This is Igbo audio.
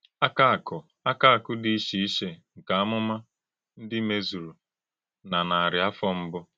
Àkàkụ̀ Àkàkụ̀ Dị́ Ìché Ìché nkè Àmụ́mà Ndí Mèzùrù nà Nàrí Áfọ̀ Mbù.